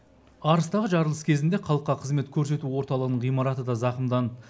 арыстағы жарылыс кезінде халыққа қызмет көрсету орталығының ғимараты да зақымданды